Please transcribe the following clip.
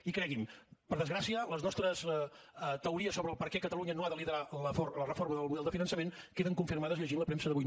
i cregui’m per desgràcia les nostres teories sobre per què catalunya no ha de liderar la reforma del model de finançament queden confirmades llegint la premsa d’avui